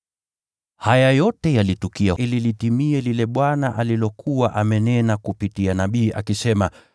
Haya yote yalitukia ili litimie lile Bwana alilokuwa amenena kupitia nabii, akisema: